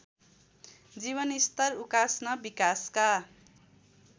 जीवनस्तर उकास्न विकासका